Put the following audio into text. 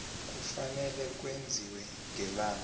kufanele kwenziwe ngelanga